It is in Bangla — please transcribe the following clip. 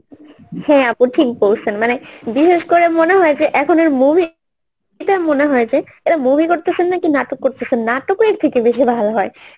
হ্যাঁ ঁ আপু ঠিক বলছেন মানে বিশেষ করে মনে হয় যে এখন এর movie এটা মনে হয়েছে এটা movie করতেছেন নাকি নাটক করতেছেন নাটক ও এর থেকে বেশি ভালো হয় এমন হয়েছে